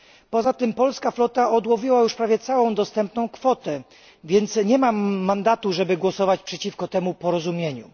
Poza tym polska flota odłowiła już całą dostępną kwotę, więc nie mam mandatu, żeby głosować przeciwko temu porozumieniu.